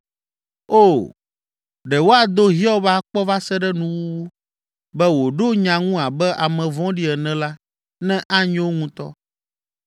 O, ɖe woado Hiob akpɔ va se ɖe nuwuwu, be wòɖo nya ŋu abe ame vɔ̃ɖi ene la, ne anyo ŋutɔ!